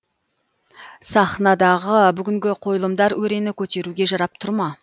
сахнадағы бүгінгі қойылымдар өрені көтеруге жарап тұр ма